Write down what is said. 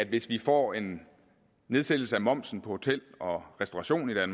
hvis vi får en nedsættelse af momsen på hotel og restaurationsydelser i